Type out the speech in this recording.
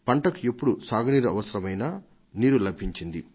పంటకు ఎప్పుడు సాగు నీరు అవసరమైనా నీరు లభించేది